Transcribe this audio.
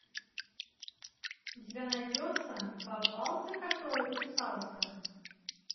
у тебя найдется попался который кусался